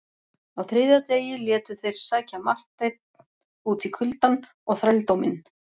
Á þriðja degi létu þeir sækja Marteinn út í kuldann og þrældóminn.